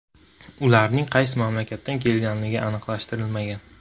Ularning qaysi mamlakatdan kelganligi aniqlashtirilmagan.